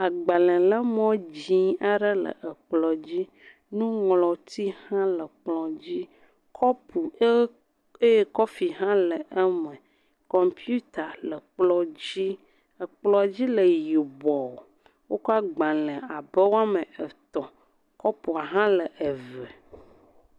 agbalē le mo dzĩ aɖe le ekplɔ̃ dzí nuŋlɔti hã le kplɔ̃ dzí kɔpu ɖe eye kɔfi hã le eme kɔmputa le kplɔ̃ dzi ekplɔ̃ dzi le yibɔɔ wókɔ agbalē abe woametɔ̃ kɔpu hã le eve